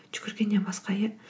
жүгіргеннен басқа иә